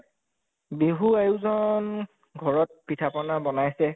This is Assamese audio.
বিহু আয়োজন ঘৰত পিঠা পনা বনাইছে